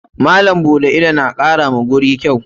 Malam buɗe ido na kara wa guri kyau.